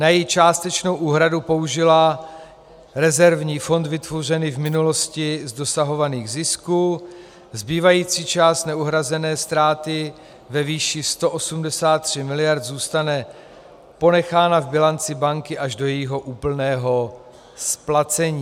Na její částečnou úhradu použila rezervní fond vytvořený v minulosti z dosahovaných zisků, zbývající část neuhrazené ztráty ve výši 183 miliard zůstane ponechána v bilanci banky až do jejího úplného splacení.